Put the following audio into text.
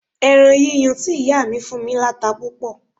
Ẹran yíyan tí ìyá mi fún mí láta púpọ̀